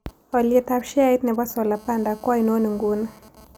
Alyetap sheait ne po solar panda ko ainon inguni